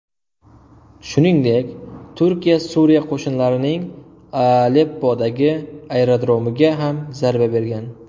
Shuningdek, Turkiya Suriya qo‘shinlarining Aleppodagi aerodromiga ham zarba bergan .